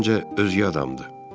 Məncə özgə adamdır.